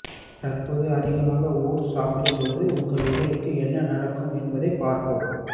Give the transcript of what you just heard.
தற்போது அதிகமாக ஓட்ஸ் சாப்பிடும்போது உங்கள் உடலுக்கு என்ன நடக்கும் என்பதை பார்ப்போம்